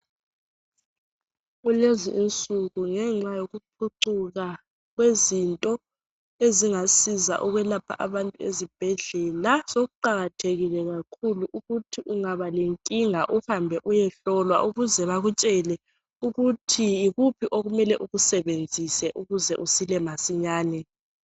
Kulezi insuku ngenxa yokuphucuka kwezinto ezingasiza ukwelapha abantu ezibhedlela sokuqakathekile kakhulu ukuthi ungaba lenkinga uhambe uyehlolwa ukuze bakutshele ukuthi yikuphi okumele ukusebenzisw ukuze usile masinyane.